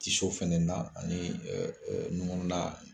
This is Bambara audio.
Tiso fana na ani ŋuna